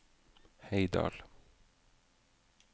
Heidal